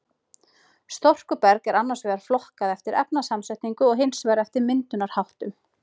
Storkuberg er annars vegar flokkað eftir efnasamsetningu og hins vegar eftir myndunarháttum.